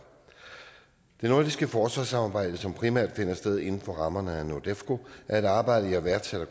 nordiske forsvarssamarbejde som primært finder sted inden for rammerne af nordefco er et arbejde jeg værdsætter